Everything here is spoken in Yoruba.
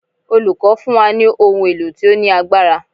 Olùkọ́ fún wa ní ohun èlò tí ó ní agbára.